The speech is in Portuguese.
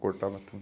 Cortava tudo.